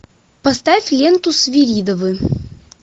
поставь ленту свиридовы